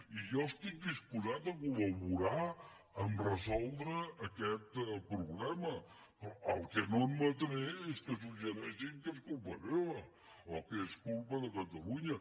i jo estic disposat a col·laborar a resoldre aquest problema però el que no admetré és que suggereixin que és culpa meva o que és culpa de catalunya